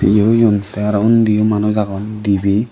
ye oyon tey aro undiyo manus agon dibey.